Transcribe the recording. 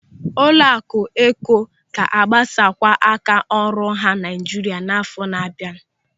Ụlọaku Eko ga-agbasakwu áká ọrụ ha Naịjirịa n'àfọ́ na-abịa.